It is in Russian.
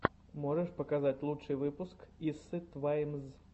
можешь показать лучший выпуск иссы тваймз